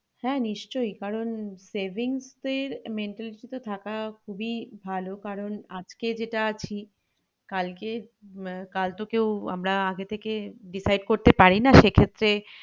হ্যাঁ নিশ্চই কারণ savings এর mentality তো থাকা খুবিই ভালো কারণ আজকে যেটা আছি কালকে আহ কাল তো কেউ আমরা আগে থেকে decide করতে পারিনা সেক্ষেত্রে